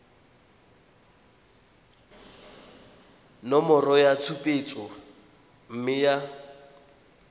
nomoro ya tshupetso mme ya